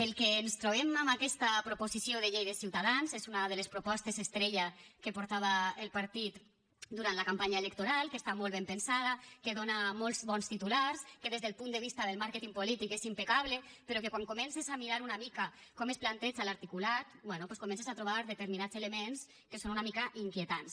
el que ens trobem en aquesta proposició de llei de ciutadans és una de les propostes estrella que portava el partit durant la campanya electoral que està molt ben pensada que dóna molts bons titulars que des del punt de vista del màrqueting polític és impecable però que quan comences a mirar com es planteja l’articulat bé doncs comences a trobar determinats elements que són una mica inquietants